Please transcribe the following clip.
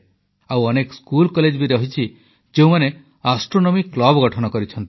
ଆଉ ଅନେକ ସ୍କୁଲକଲେଜ ବି ରହିଛି ଯେଉଁମାନେ ଆଷ୍ଟ୍ରୋନୋମି କ୍ଲବ ଗଠନ କରିଛନ୍ତି